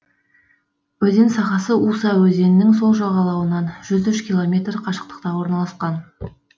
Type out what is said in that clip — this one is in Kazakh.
өзен сағасы уса өзенінің сол жағалауынан жүз үш километр қашықтықта орналасқан